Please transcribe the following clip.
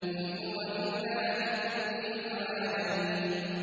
إِنْ هُوَ إِلَّا ذِكْرٌ لِّلْعَالَمِينَ